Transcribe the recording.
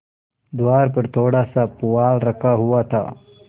द्वार पर थोड़ासा पुआल रखा हुआ था